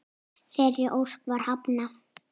Þeirri ósk var hafnað.